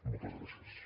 moltes gràcies